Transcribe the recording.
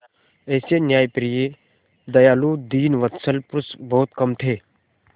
ऐसे न्यायप्रिय दयालु दीनवत्सल पुरुष बहुत कम थे